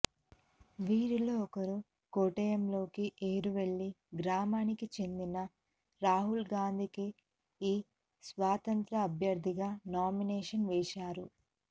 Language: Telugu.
వీరిలో ఒకరు కొట్టాయంలోని ఎరుమెలి గ్రామానికి చెందిన రాహుల్ గాంధీ కేఈ స్వతంత్ర అభ్యర్ధిగా నామినేషన్ వేశారు